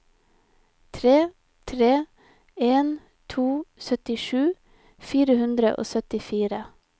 tre tre en to syttisju fire hundre og syttifire